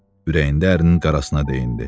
Ürəyində ərinin qarasına deyinirdi.